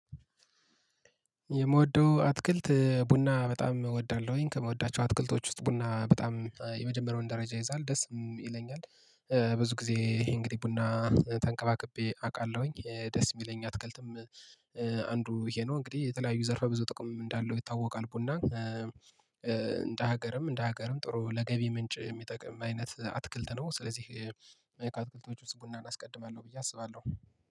የምወደው አትክልት ቡና በጣም እወዳለሁኝ ከምወዳቸው አትክልቶች ውስጥ ቡና በጣም የመጀመሪያውን ደረጃ ይይዛል ደስ ይለኛል። ብዙ ጊዜ ይሄ እንግዲህ ቡና ተንከባክቤ አውቃለሁኝ ደስ የሚለኝ አትክልትም። አንዱ ይሄ ነው እንግዲህ የተለያዩ ዘርፈ ብዙ ጥቅም እንዳለው ይታወቃል ቡና። እንደ ሀገርም እንደ ሀገርም ጥሩ ለገቢ ምንጭ የሚጠቅም አይነት አትክልት ነው ስለዚህ እኔ ከአትክልቶች ውስጥ ቡናን አስቀድማለሁ ብዬ አስባለሁ